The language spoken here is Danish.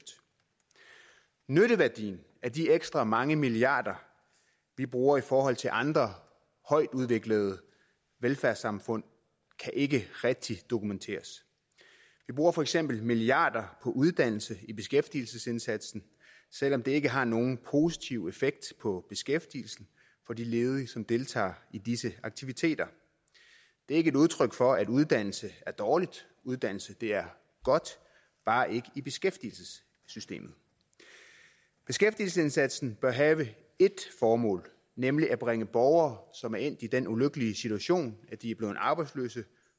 nytteværdien af de ekstra mange milliarder vi bruger i forhold til andre højtudviklede velfærdssamfund kan ikke rigtig dokumenteres vi bruger for eksempel milliarder på uddannelse i beskæftigelsesindsatsen selv om det ikke har nogen positiv effekt på beskæftigelsen for de ledige som deltager i disse aktiviteter det er ikke et udtryk for at uddannelse er dårligt uddannelse er godt bare ikke i beskæftigelsessystemet beskæftigelsesindsatsen bør have ét formål nemlig at bringe borgere som er endt i den ulykkelige situation at de er blevet arbejdsløse